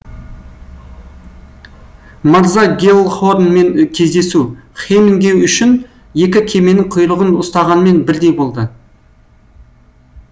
марза гелхорнмен кездесу хемингэй үшін екі кеменің құйрығын ұстағанмен бірдей болды